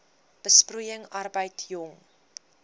besproeiing arbeid jong